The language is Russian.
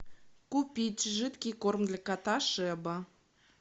купить жидкий корм для кота шеба